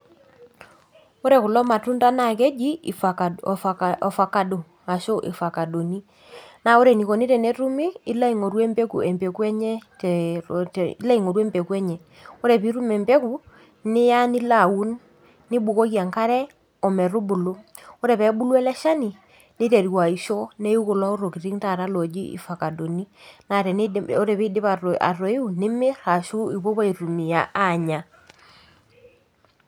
Ore kulo matunda naa keji ifakado ashu ifakadoni naa ore enikoni tenetumi ilo aingoru empeku enye, emepeku enye, ilo aingoru empeku enye , ore pitum empeku niya nilaaun ,nibukoki enkare ometubulu , ore pebulu eleshani niteru aisho, neiu kulo tokitin taata loji fakaoni, naa ore pidip atoiu , nimir ashu ipuopuo aitumia anya .